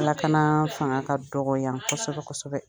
Lakana fanga ka dɔgɔ yan kɔsɛbɛ kɔsɛbɛ.